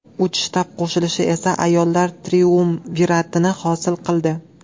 Uch shtab qo‘shilishi esa ayollar triumviratini hosil qildi.